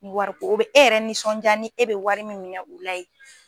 wariko o bɛ e yɛrɛ nisɔnjaa ni e bɛ wari min minɛn u la yen.